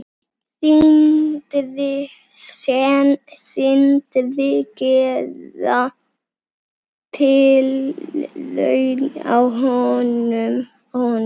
Sindri: Gera tilraun á honum?